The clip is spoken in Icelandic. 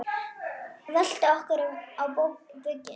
Veltum okkur á bökin.